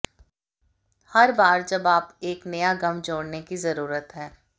हर बार जब आप एक नया गम जोड़ने की जरूरत है